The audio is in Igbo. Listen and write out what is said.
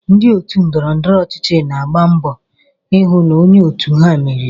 Ndị otu ndọrọndọrọ ọchịchị na-agba mbọ ịhụ na onye òtù ha meriri.